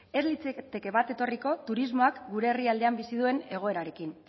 ez litzateke bat etorriko turismoak gure herrialdean bizi duen egoerarekin